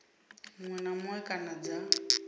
muṅwe na muṅwe kana dza